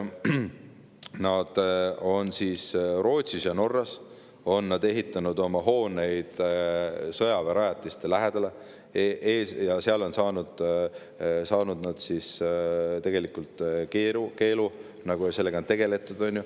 Nad on Rootsis ja Norras ehitanud oma hooneid sõjaväerajatiste lähedale ja seal on nad tegelikult saanud keelu, sellega on tegeletud.